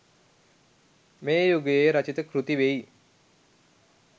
මේ යුගයේ රචිත කෘති වෙයි.